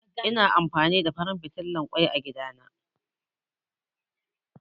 Ina amfani da farin fitilan ƙoi a gida na